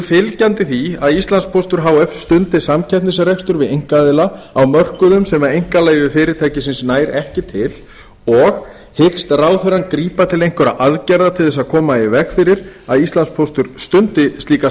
fylgjandi því að íslandspóstur h f stundi samkeppnisrekstur við einkaaðila á mörkuðum sem einkaleyfi fyrirtækisins nær ekki til og hyggst ráðherrann grípa til einhverra aðgerða til að koma í veg fyrir að íslandspóstur stundi slíka